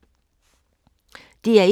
DR1